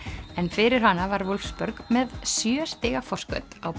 en fyrir hana var með sjö stiga forskot á